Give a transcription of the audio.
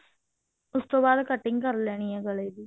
ਉਸ ਤੋਂ ਬਾਅਦ cutting ਕਰ ਲੈਣ ਹੈ ਗਲੇ ਦੀ